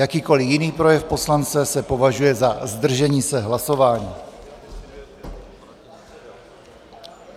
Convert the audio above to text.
Jakýkoli jiný projev poslance se považuje za zdržení se hlasování.